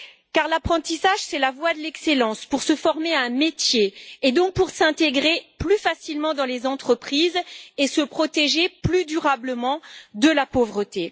Car l'apprentissage est la voie de l'excellence pour se former à un métier et donc pour s'intégrer plus facilement dans les entreprises et se protéger plus durablement de la pauvreté.